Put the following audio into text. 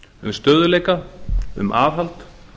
um stöðugleika um aðhald